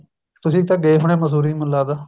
ਤੁਸੀਂ ਤਾਂ ਗਏ ਹੋਣੇ ਮੰਸੂਰੀ ਮੈਨੂੰ ਲੱਗਦਾ